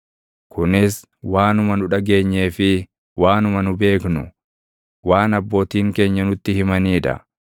Kunis waanuma nu dhageenyee fi waanuma nu beeknu, waan abbootiin keenya nutti himanii dha.